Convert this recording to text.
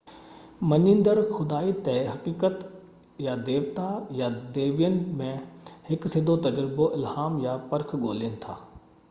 مڃيندڙ خدائي حقيقت/ديوتا يا ديوين ۾ هڪ سڌو تجربو، الهام، يا پرک ڳولهين ٿا